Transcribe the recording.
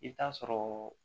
I bɛ taa sɔrɔɔ